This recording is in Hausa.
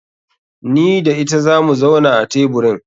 Ni da ita zamu zauna a teburin.